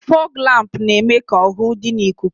Fọọg lámpu na-eme ka ọhụhụ dị n'ikuku.